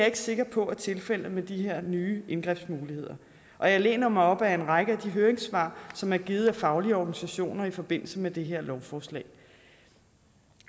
ikke sikker på er tilfældet med de her nye indgrebsmuligheder og jeg læner mig op af en række af de høringssvar som er givet af faglige organisationer i forbindelse med det her lovforslag